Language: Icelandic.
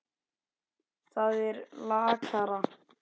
Það er lakara.